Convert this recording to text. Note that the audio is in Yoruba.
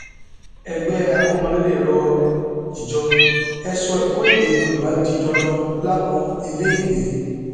ẹgbẹ akọmọlédè rọ ìjọ e sọ ẹkọ èdè yorùbá di dandan láwọn iléèwé